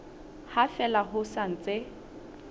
ha fela ho sa ntse